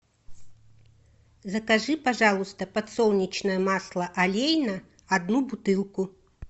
закажи пожалуйста подсолнечное масло олейна одну бутылку